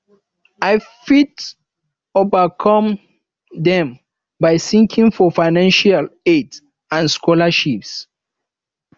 i fit overcome dem by seeking for financial aid and scholarships